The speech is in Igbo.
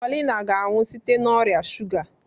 Paulina ga-anwụ site n'ọrịa shuga.